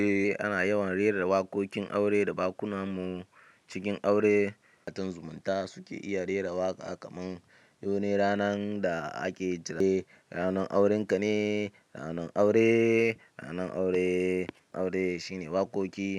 Kana yawan rera waƙoƙin aure a bakunan mu cikin aure. Matan zumunta suke iya rera waƙa kamar "yaune ranan da ake jira ne, ranan auren ka ne, ranan aure, ranan aure". Aure shine waƙoƙi.